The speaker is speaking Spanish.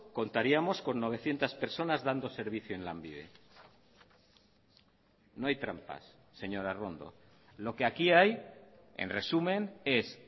contaríamos con novecientos personas dando servicio en lanbide no hay trampas señora arrondo lo que aquí hay en resumen es